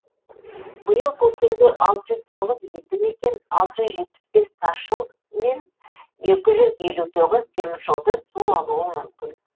биыл көктемде алты жүз тоғыз елді мекен алты жүз жетпіс бес тас жол мен екі жүз елу тоғыз теміржолды су алуы мүмкін